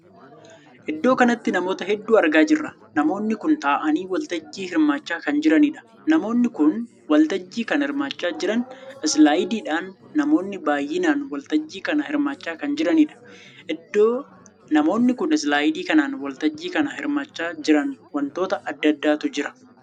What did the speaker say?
Iddoo kanatti namoota hedduu argaa jirra. Namoonni kun taa'aanii waltajjii hirmaachaa kan jiranidha. Namoonni kun waltajjii kan hirmaachaa jiran islaayidiidhaan. Namoonni baay'inaan waltajjii kana hirmaachaa kan jiranidha. Iddoo namoonni kun islaayidii kanaan waltajjii kana hirmaachaa jiran wantoota addaa addaatu jira.